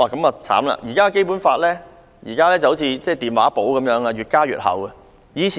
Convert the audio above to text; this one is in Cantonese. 目前《基本法》好像電話簿般越加越厚。